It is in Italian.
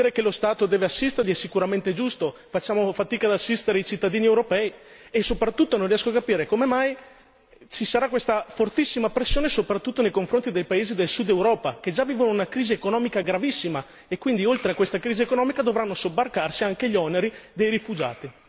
Dire che lo Stato deve assisterli è sicuramente giusto, ma facciamo fatica ad assistere i cittadini europei e soprattutto non riesco a capire come mai ci sarà questa fortissima pressione soprattutto nei confronti dei paesi del Sud Europa che già vivono una crisi economica gravissima e quindi oltre a questa crisi economica dovranno sobbarcarsi anche gli oneri dei rifugiati.